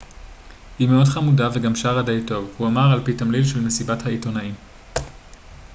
היא מאוד חמודה וגם שרה די טוב הוא אמר על פי תמליל של מסיבת העיתונאים